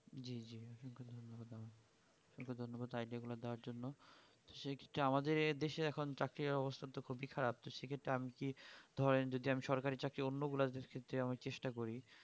জি জি জি আপনাকে ধন্যবাদ idea গুলো দেবার জন্য সে ক্ষেত্রে আমাদের দেশে এখন চাকরির অবস্থা খুবই খারাপ তো সেক্ষেত্রে আমি কি ধরেন যদি আমি সরকারি চাকরি অন্য গুলার ক্ষেত্রে চেষ্টা করি